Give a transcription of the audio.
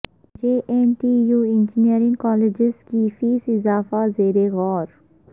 جے N T U engineering colleges کی fees اضافہ زیر غور